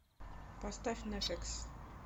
поставь нэффекс